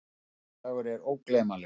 Þessi dagur var ógleymanlegur.